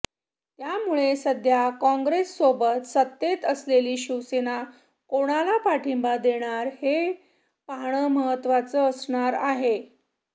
त्यामुळे सध्या काँग्रेससोबत सत्तेत असलेली शिवसेना कोणाला पाठिंबा देणार हे पाहणं महत्त्वाचं असणार आहे